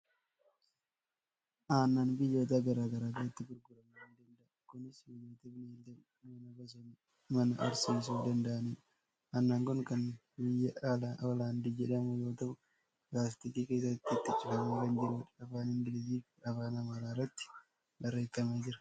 Aannan biyyoota garaa garaa keessatti gurguramuu ni danda'a. Kunis biyyoota bineelda manaa horsiisuu danda'aniinidha. Aannan kun kan biyya Hooland jedhamuu yoo ta'u, laastikii keessatti itti cufamee kan jirudha. Afaan Ingiliffaa fi Afaan Amaaraan irratti barreeffamee jira.